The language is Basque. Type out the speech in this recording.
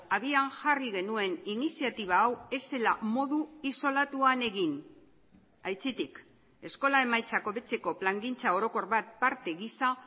abian jarri genuen iniziatiba hau ez zela modu isolatuan egin aitzitik eskola emaitzak hobetzeko plangintza orokor bat parte gisa